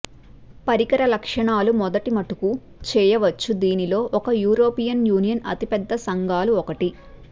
పరికర లక్షణాలు మొదటి మటుకు చేయవచ్చు దీనిలో ఒక యూరోపియన్ యూనియన్ అతిపెద్ద సంఘాలు ఒకటి